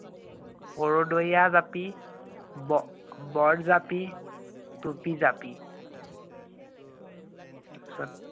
কৰ্দৈয়া জাপি, ব~ বৰ জাপি, টুপী জাপি।